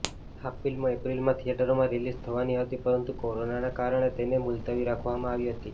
આ ફિલ્મ એપ્રિલમાં થિયેટરોમાં રિલીઝ થવાની હતી પરંતુ કોરોનાને કારણે તેને મુલતવી રાખવામાં આવી હતી